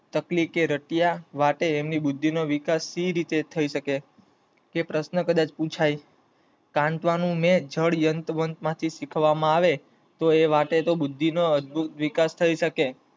તકલી કે રાતીયા વાટે હું એમની બુદ્ધિ નો વિકાસ કઈ રીતે થઇ શકે? તે પ્રશ્ન કદાચ પુછાય. સંયવનું જડ વનત્વનું થવામાં શીખવામાં આવે તો એન બુદ્ધિ નો અદભુત વિકાસ થઇ શકે